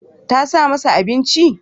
Tasa mana abinci.